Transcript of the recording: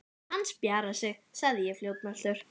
Hann spjarar sig sagði ég fljótmæltur.